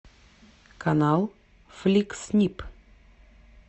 канал фликс снип